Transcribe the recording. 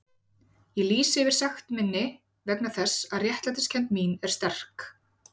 Ég lýsi yfir sekt minni vegna þess að réttlætiskennd mín er sterk.